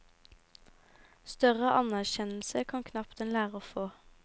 Større anerkjennelse kan knapt en lærer få.